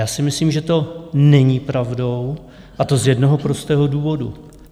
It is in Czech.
Já si myslím, že to není pravda, a to z jednoho prostého důvodu.